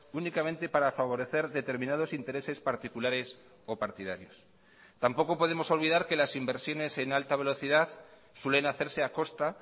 únicamente para favorecer determinados intereses particulares o partidarios tampoco podemos olvidar que las inversiones en alta velocidad suelen hacerse a costa